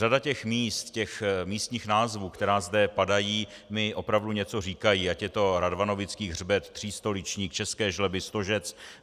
Řada těch míst, těch místních názvů, které zde padají, mi opravdu něco říká, ať je to Radvanovický hřbet, Třístoličník, České Žleby, Stožec.